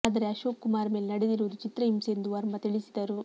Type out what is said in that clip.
ಆದರೆ ಅಶೋಕ್ ಕುಮಾರ್ ಮೇಲೆ ನಡೆದಿರುವುದು ಚಿತ್ರಹಿಂಸೆ ಎಂದು ವರ್ಮಾ ತಿಳಿಸಿದರು